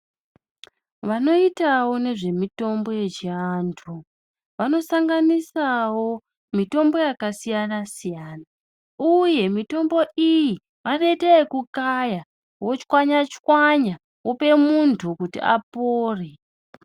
Vanoitawo nezvemitombo yechiantu vanosanganisawo mitombo yakasiyana-siyana uye mitombo iyi vanoite yekukaya, vochwanya-chwanya, vope muntu kuti apore.